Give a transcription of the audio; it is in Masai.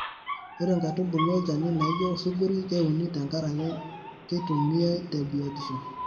Ore nkaitubulu olchani naijo osuguroi keuni tenkaraki keitumiai te biotisho.